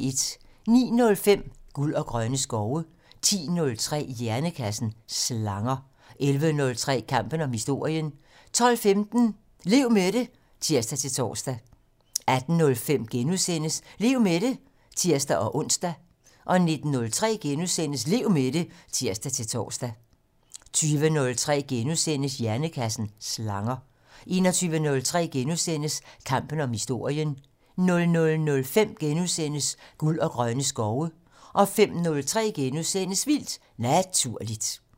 09:05: Guld og grønne skove 10:03: Hjernekassen: Slanger 11:03: Kampen om historien 12:15: Lev med det (tir-tor) 18:05: Lev med det *(tir-ons) 19:03: Lev med det *(tir-tor) 20:03: Hjernekassen: Slanger * 21:03: Kampen om historien * 00:05: Guld og grønne skove * 05:03: Vildt Naturligt *